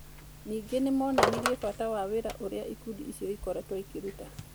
Ningĩ nĩ moonanirie bata wa wĩra ũrĩa ikundi icio ikoretwo ikĩruta.